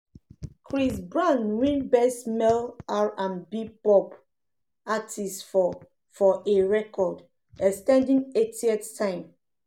chris brown win best male r&b/pop artist for for a record-ex ten ding eighth time.